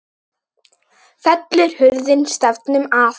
Fellur hurðin stafnum að.